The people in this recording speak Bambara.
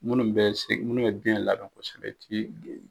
Munnu bɛ se munnu ye den labɛn kosɛbɛ tin